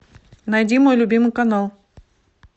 найди мой любимый канал